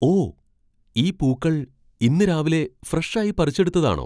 ഓ! ഈ പൂക്കൾ ഇന്ന് രാവിലെ ഫ്രഷ് ആയി പറിച്ചെടുത്തതാണോ?